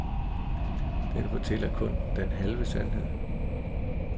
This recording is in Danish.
Den fortæller kun den halve sandhed.